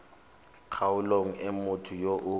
kgaolong e motho yo o